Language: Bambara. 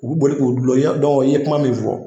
U bi boli k'u dulon i ye kuma min fɔ